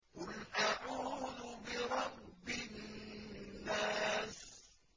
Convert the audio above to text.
قُلْ أَعُوذُ بِرَبِّ النَّاسِ